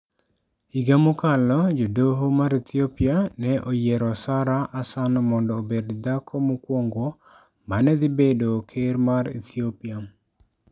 Higa mokalo, jodoho mar Ethiopia ne oyiero Sara Hasan mondo obed dhako mokwongo ma ne dhi bedo ker mar Ethiopia.